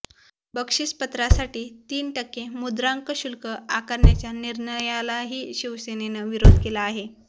बक्षीसपत्रासाठी तीन टक्के मुद्रांक शुल्क आकारण्याच्या निर्णयालाही शिवसेनेनं विरोध केला आहे